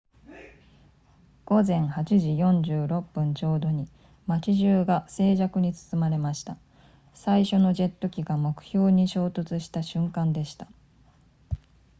午前8時46分ちょうどに街中が静寂に包まれました最初のジェット機が目標に衝突した瞬間でした